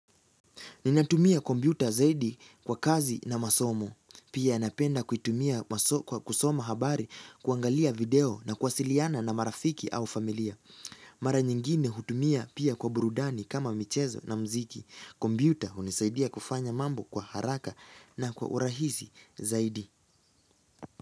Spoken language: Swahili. Ninatumia kompyuta zaidi kwa kazi na masomo. Pia napenda kuitumia kwa kusoma habari kuangalia video na kuwasiliana na marafiki au familia. Mara nyingine hutumia pia kwa burudani kama michezo na mziki. Kompyuta hunisaidia kufanya mambo kwa haraka na kwa urahisi zaidi.